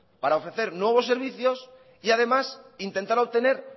para ofrecer nuevos servicios y además intentar obtener